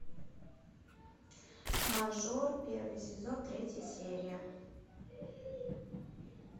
мажор первый сезон третья серия